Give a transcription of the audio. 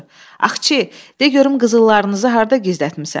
Axçı, de görüm qızıllarınızı harda gizlətmisən?